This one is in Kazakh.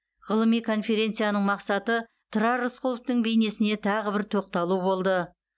ғылыми конференцияның мақсаты тұрар рысқұловтың бейнесіне тағы да бір тоқталу болды